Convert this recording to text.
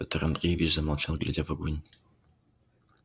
пётр андреевич замолчал глядя в огонь